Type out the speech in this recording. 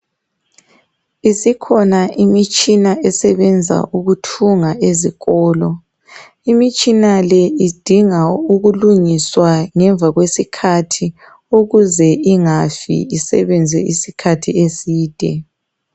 Isikhona imitshina esebenza ukuthunga ezikolo. Imitshina le idinga ukulungiswa ngemva kwesikhathi ukuze ingafi isebenze isikhathi eside.